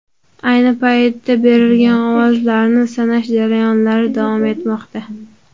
Ayni paytda berilgan ovozlarni sanash jarayonlari davom etmoqda .